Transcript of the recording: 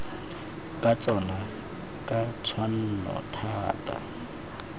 ka tsona ka tshwanno thata